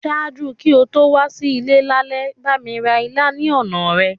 Ṣaaju ki o to wa si ile lálẹ́, bámi ra ilá ni ọna rẹ.